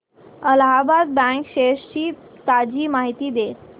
Allahabad bank shares ची ताजी माहिती दे